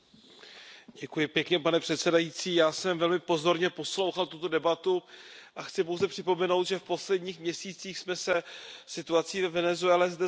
Pane předsedající, já jsem velmi pozorně poslouchal tuto debatu a chci pouze připomenout, že v posledních měsících jsme se zde situací ve Venezuele zabývali několikrát.